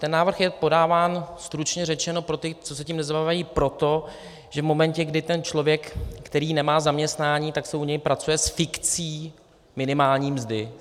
Ten návrh je podáván, stručně řečeno, pro ty, co se tím nezabývají, proto, že v momentě, kdy ten člověk, který nemá zaměstnání, tak se u něj pracuje s fikcí minimální mzdy.